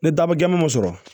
Ni dabɔ gɛama sɔrɔ